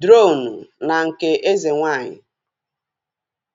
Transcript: dronu na nke eze nwaanyị